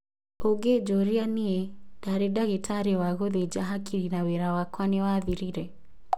"ũngĩnjũria niĩ, ndarĩ ndagĩtarĩ wa gũthinja hakiri na wĩra wakwa nĩ wathirire"